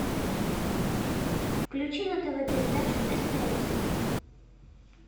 включи на тв передачу стс